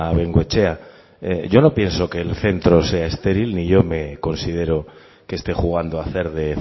bengoechea yo no pienso que el centro sea estéril ni yo me considero que esté jugando a hacer de